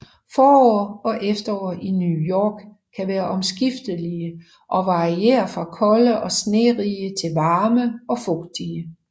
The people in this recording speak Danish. Forår og efterår i New York kan være omskiftelige og variere fra kolde og snerige til varme og fugtige